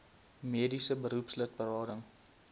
mediese beroepslid berading